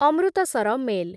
Amritsar mail